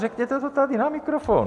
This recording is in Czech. Řekněte to tady na mikrofon.